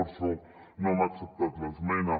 per això no hem acceptat l’esmena